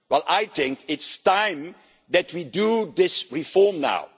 I think it's time that we did this reform